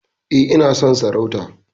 E, ina son sarauta.